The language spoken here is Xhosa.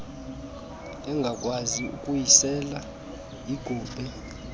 engakwazi ukuyisela yigube